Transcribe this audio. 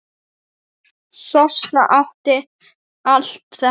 Sossa átti allt þetta.